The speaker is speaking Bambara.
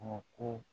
ko